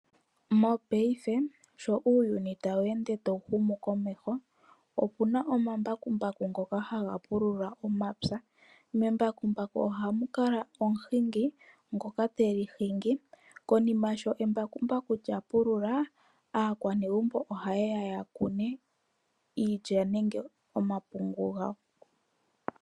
Mopaife sho uuyuni tawu ende tawu humu komeho, opu na omambakumbaku ngoka haga pulula omapya. Membakumbaku ohamu kala omuhingi ngoka te li hingi. Konima sho embakumbaku lya pulula aanegumbo ohaye ya ya kune iilya nenge omapungu gawo.